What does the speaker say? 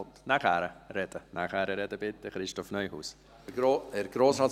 Ich gebe Christoph Neuhaus das Wort.